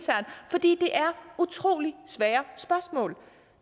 fordi det er utrolig svære spørgsmål